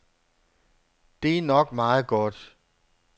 Det er nok meget godt.